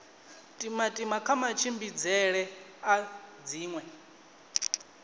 timatima kha matshimbidzele a dziṅwe